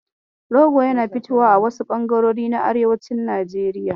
Rogo yana fitowa a wasu ɓangarori na arewacin Najeriya.